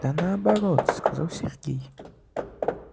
да наоборот сказал сергей